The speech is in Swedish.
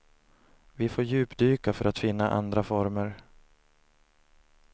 Vi får djupdyka för att finna andra former.